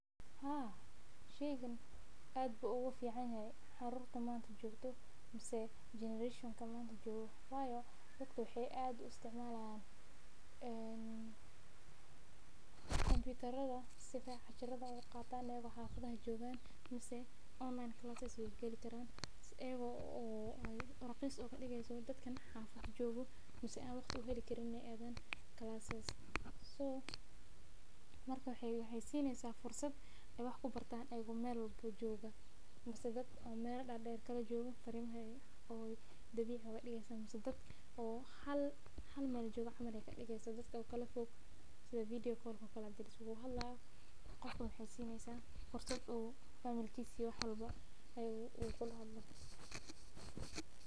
Haa sheygan aad ayuu igu fican yahay caruurta maanta joogto waayo dadka waxeey aad us isticmaalan ayago raqiis ooga digeysa dadka xafada joogo amaa ayaho meel walbo joogo ayeey waxeey kadigeysa ayago hal meel jooga camal.